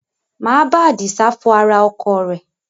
Máa bá Adisa fọ ara ọkọ̀ rẹ̀